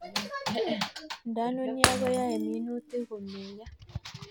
Nda nunio koyae minutik ko meiyo